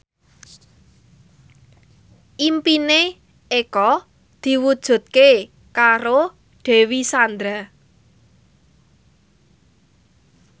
impine Eko diwujudke karo Dewi Sandra